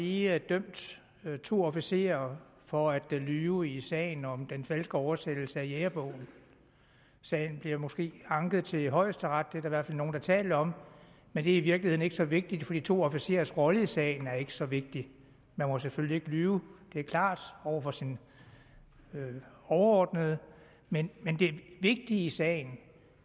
lige dømt to officerer for at lyve i sagen om den falske oversættelse af jægerbogen sagen bliver måske anket til højesteret det er der i hvert fald nogle der taler om men det er virkeligheden ikke så vigtigt for de to officerers rolle i sagen er ikke så vigtig man må selvfølgelig ikke lyve det er klart over for sine overordnede men det vigtige i sagen